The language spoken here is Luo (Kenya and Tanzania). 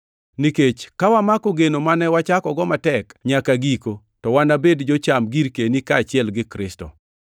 Nikech ka wamako geno mane wachakogo matek nyaka giko to wanabed jocham girkeni kaachiel gi Kristo.